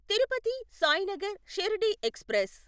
Tirupati Sainagar Shirdi express